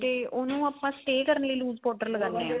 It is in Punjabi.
ਤੇ ਉਹਨੂੰ ਆਪਾਂ stay ਕਰਨ ਲਈ lose powder ਲਗਾਨੇ ਆ